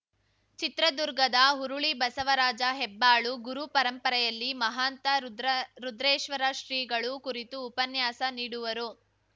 ಚಿತ್ರದುರ್ಗದ ಹುರುಳಿ ಬಸವರಾಜ ಹೆಬ್ಬಾಳು ಗುರುಪರಂಪರೆಯಲ್ಲಿ ಮಹಾಂತ ರುದ್ರ ರುದ್ರೇಶ್ವರ ಶ್ರೀಗಳು ಕುರಿತು ಉಪನ್ಯಾಸ ನೀಡುವರು